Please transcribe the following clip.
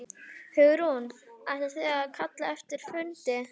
Hugrún: Ætlið þið að kalla eftir fundi?